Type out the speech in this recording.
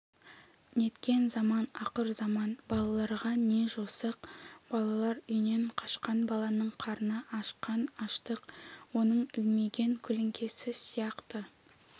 неткен заман ақырзаман басқаларға не жосық балалар үйінен қашқан баланың қарны ашқан аштық оның ілмиген көлеңкесі сияқты